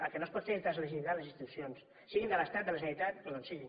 el que no es pot fer és deslegitimar les institucions siguin de l’estat de la generalitat o d’on siguin